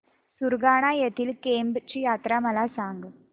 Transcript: सुरगाणा येथील केम्ब ची यात्रा मला सांग